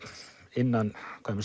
innan